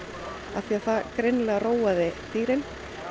því það greinilega róaði dýrin